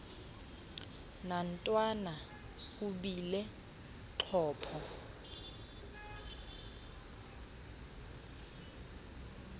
nantwana ubile xhopho